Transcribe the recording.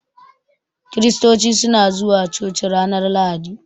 Kiristoci suna zuwa coci ranar lahadi.